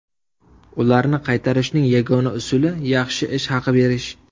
Ularni qaytarishning yagona usuli yaxshi ish haqi berish.